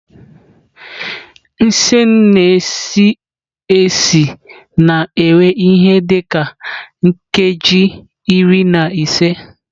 Nsen na-esi esi na-ewe ihe dị ka nkeji iri na ise.